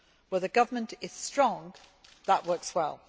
Where the government is strong, that works well.